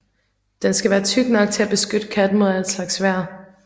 Den skal være tyk nok til at beskytte katten mod alle slags vejr